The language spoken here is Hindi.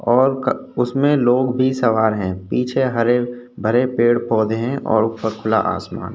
और उसमे लोग भी सवार है। पीछे हरे-भरे पेड़-पौधे हैं और ऊपर खुला आसमान --